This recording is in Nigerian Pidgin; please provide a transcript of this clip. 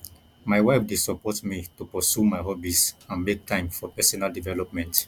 my wife dey support me to pursue my hobbies and make time for personal development